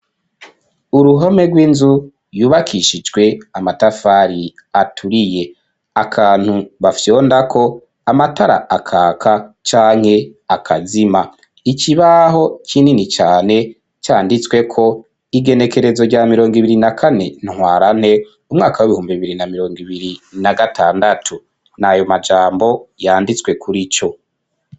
Uruhome rw'inzu, yubakishijwe amatafari, aturiye; akantu bafyondako, amatara akaka, canke akazima; ikibaho kinini cane, canditsweko: igenekerezo, rya mirongo ibiri na kane, ntwarante, umwaka w'ibihumbi bibiri, na mirongo ibiri, na gatandatu; ni ayo majambo, yanditswe kuri co.